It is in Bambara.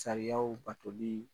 Sariyaw batoli